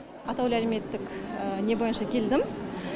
атаулы әлеуметтік не бойынша келдім